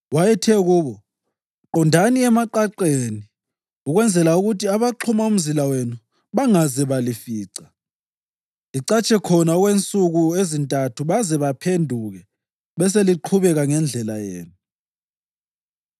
Wayethe kubo, “Qondani emaqaqeni ukwenzela ukuthi abaxhuma umzila wenu bangaze balifica. Licatshe khonale okwensuku ezintathu baze baphenduke beseliqhubeka ngendlela yenu.”